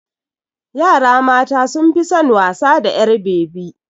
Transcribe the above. Yara mata sun fi son wasa da ƴar bebi.